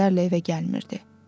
həftələrlə evə gəlmirdi.